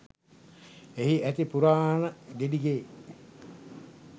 එහි ඇති පුරාණ ගෙඩිගේ